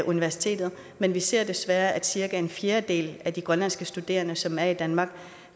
universitetet men vi ser desværre at cirka en fjerdedel af de grønlandske studerende som er i danmark